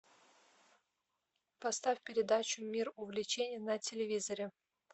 поставь передачу мир увлечений на телевизоре